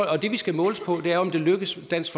og det vi skal måles på er jo om det lykkes dansk